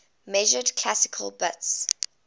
measured classical bits